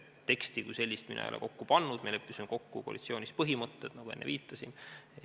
Teksti kui sellist mina ei ole kokku pannud, me leppisime kokku koalitsioonis põhimõtted, nagu enne viitasin.